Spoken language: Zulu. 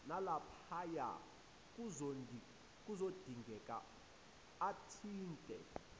nalaphaya kuzodingeka athinte